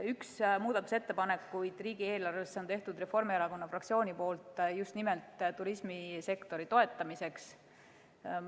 Ühe muudatusettepaneku riigieelarvesse on teinud Reformierakonna fraktsioon just nimelt turismisektori toetamiseks.